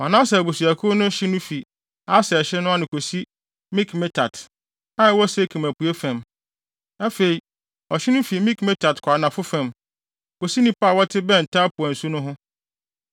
Manase abusuakuw no hye no fi Aser hye ano kosi Mikmetat, a ɛwɔ Sekem apuei fam. Afei, ɔhye no fi Mikmetat kɔ anafo fam, kosi nnipa a wɔte bɛn Tapua nsu no ho no.